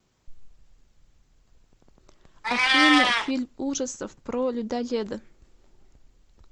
афина фильм ужасов про людоеда